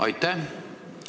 Aitäh!